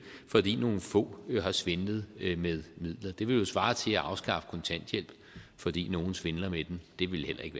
fordi nogle få har svindlet med midler det vil jo svare til at afskaffe kontanthjælp fordi nogle svindler med den det ville heller ikke